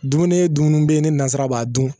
Dumuni ye dumuni bɛ ye ne nazara b'a dun